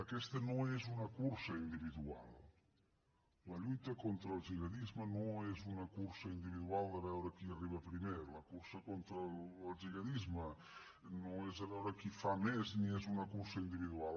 aquesta no és una cursa individual la lluita contra el gihadisme no és una cursa individual de veure qui arriba primer la cursa contra el gihadisme no és a veure qui fa més ni és una cursa individual